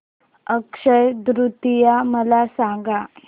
अक्षय तृतीया मला सांगा